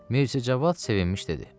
Mirzə Cavad sevinmiş dedi: